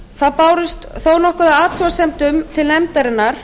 það barst þó nokkuð af athugasemdum til nefndarinnar